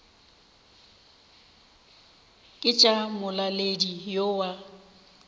ke tša molaletši yo wa